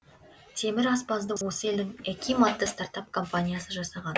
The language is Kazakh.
темір аспазды осы елдің эким атты стартап компаниясы жасаған